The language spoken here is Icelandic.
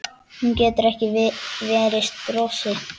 Hún getur ekki varist brosi.